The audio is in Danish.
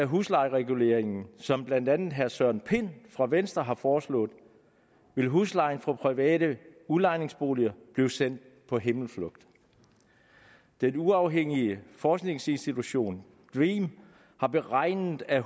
huslejereguleringen som blandt andet herre søren pind fra venstre har foreslået vil huslejen for private udlejningsboliger blive sendt på himmelflugt den uafhængige forskningsinstitution dream har beregnet at